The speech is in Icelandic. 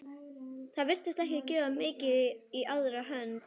Það virtist ekki gefa mikið í aðra hönd.